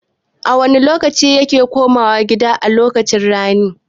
A wane lokaci ya koma gida a lokacin rani?